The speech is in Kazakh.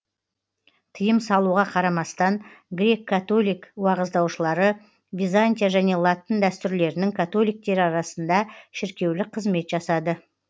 тиым салуға қарамастан греккатолик уағыздаушылары византия және латын дәстүрлерінің католиктері арасында шіркеулік қызмет жасады